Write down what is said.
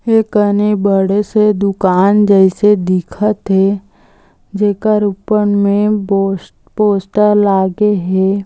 ए कने बड़े से दुकान जइसे दिखत हे जेकर ऊपर में बोस पोस्टर लागे हे।